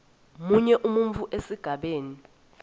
munye umbuto esigabeni